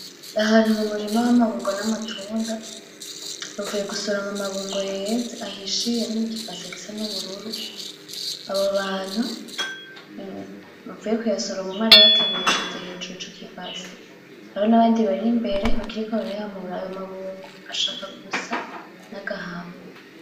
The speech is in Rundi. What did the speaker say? Ni ahantu hari umurima w'amabungo n'amatunda .Bavuye gusoroma amabungo yeze, ahishiye ari mu ki base gisa n'ubururu. Abo bantu bavuye kuyasorma umwe arayateruye yashize hejuru ico ki base. Hari n'abandi bari imbere bakiriko barayamura. Ayo mabungo ashaka gusa n'agahama.